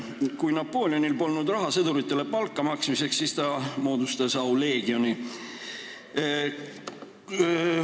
Kui Napoleonil polnud raha sõduritele palga maksmiseks, siis ta asutas Auleegioni ordeni.